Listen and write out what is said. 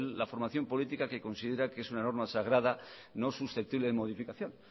la formación política que considera que es una norma sagrada no susceptible de modificación